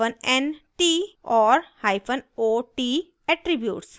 nt hyphen nt और ot hyphen ot attributes